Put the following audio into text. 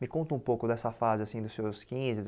Me conta um pouco dessa fase, assim, dos seus quinze,